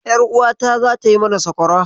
Ƴaruwata zata yi mana sakwara.